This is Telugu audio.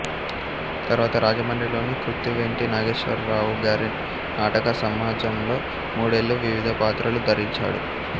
తర్వాత రాజమండ్రి లోని కృత్తివెంటి నాగేశ్వరరావు గారి నాటక సమాజంలో మూడేళ్ళు వివిధ పాత్రలు ధరించాడు